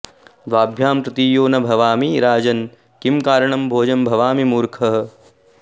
द्वाभ्यां तृतीयो न भवामि राजन् किं कारणं भोज भवामि मूर्खः